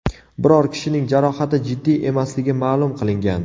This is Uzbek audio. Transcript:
Biror kishining jarohati jiddiy emasligi ma’lum qilingan.